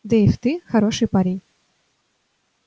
дейв ты хороший парень